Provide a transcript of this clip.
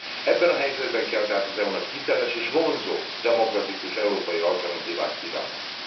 Ebben a helyzetben kell tehát az EU nak hiteles és vonzó demokratikus európai alternatívát kínálni.